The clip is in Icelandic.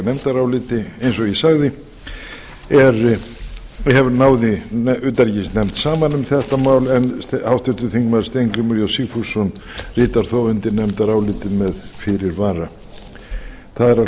nefndaráliti eins og ég sagði náði utanríkisnefnd saman um þetta mál en háttvirtur þingmaður steingrímur j sigfússon ritar þó undir nefndarálitið með fyrirvara það